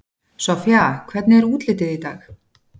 Soffía, hvernig er útlitið í dag?